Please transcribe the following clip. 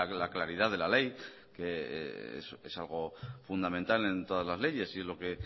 la claridad de la ley que es algo fundamental en todas las leyes y lo que